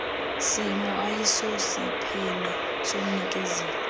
simo ayisosiphene somnikezeli